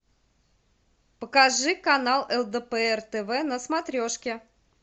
покажи канал лдпр тв на смотрешке